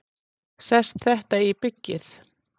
Sest þetta í byggið?